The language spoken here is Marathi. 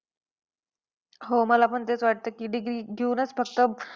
हो, मला पण तेच वाटतं degree घेऊनच फक्त